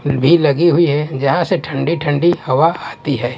फिर भी लगी हुई है जहां से ठंडी ठंडी हवा आती है।